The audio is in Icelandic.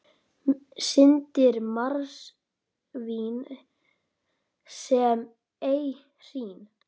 Syndir marsvín sem ei hrín.